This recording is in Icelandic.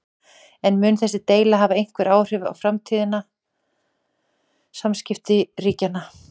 En mun þessi deila hafa einhver áhrif á framtíðar samskipti ríkjanna?